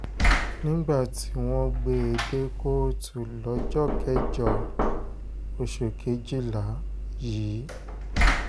nígbà tí wọ́n gbé e dé kóòtù lọ́jọ́ kẹjọ oṣù kejìlá yìí yìí agbefọ́ba b